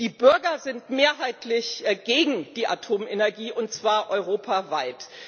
Die Bürger sind mehrheitlich gegen die Atomenergie, und zwar europaweit.